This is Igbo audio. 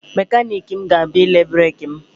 Mekaniki m ga-abịa ile breki m.